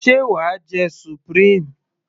sé wàá jẹ supreme?